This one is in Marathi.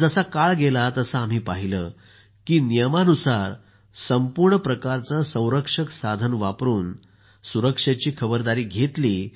जसा काळ गेला तसं आम्ही पाहिलं की संपूर्ण प्रकारचं संरक्षक साधनं आम्ही वापरून सुरक्षेची खबरदारी घेतली